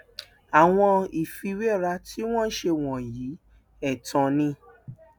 àwọn ìfiwéra tí wọn ń ṣe wọnyí ẹtàn ni